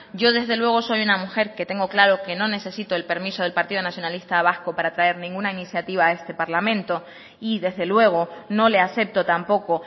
yo desde luego soy una mujer que tengo claro que no necesito el permiso del partido nacionalista vasco para traer ninguna iniciativa a este parlamento y desde luego no le acepto tampoco